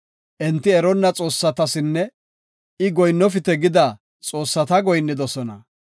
Enti eronna xoossatasinne I goyinnofite gida xoossata goyinnidosona.